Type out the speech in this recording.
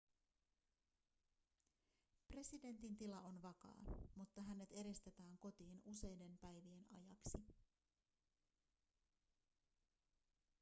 presidentin tila on vakaa mutta hänet eristetään kotiin useiden päivien ajaksi